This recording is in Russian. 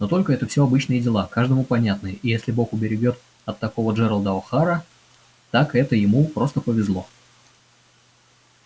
но только это всё обычные дела каждому понятные и если бог уберегёт от такого джералда охара так это ему просто повезло